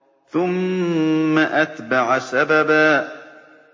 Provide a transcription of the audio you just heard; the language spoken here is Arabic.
ثُمَّ أَتْبَعَ سَبَبًا